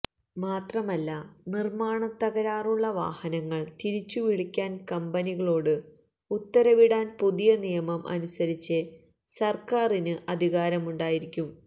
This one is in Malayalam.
മാത്രമല്ല നിർമ്മാണത്തകരാറുള്ള വാഹനങ്ങൾ തിരിച്ചുവിളിക്കാൻ കമ്പനികളോട് ഉത്തരവിടാൻ പുതിയ നിയമം അനുസരിച്ച് സർക്കാരിനു അധികാരമുണ്ടായിരിക്കും